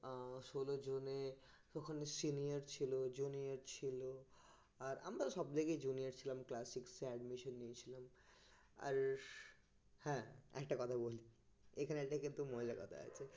ষোল জনে ওখানে senior ছিল junior ছিল তো আর আমরা তো সব জায়গাতেই junior ছিলাম class six এ admission নিয়েছিলাম আর হ্যাঁ আরেকটা কথা বলি এখানে একটা কিন্তু মজার কথা আছে